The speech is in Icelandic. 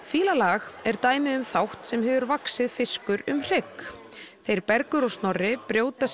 fíla lag er dæmi um þátt sem vaxið hefur fiskur um hrygg þeir Bergur og Snorri brjóta